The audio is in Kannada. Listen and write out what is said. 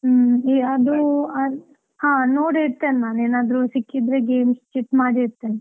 ಹ್ಮ್, ಅದು ಆ ನೋಡಿ ಇಡ್ತೇನೆ ನಾನು ಏನಾದ್ರೂ ಸಿಕ್ಕಿದ್ರೆ games chit ಮಾಡಿ ಇಡ್ತೇನೆ.